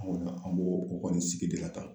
An kɔni an b'o o kɔni sigi de la tan.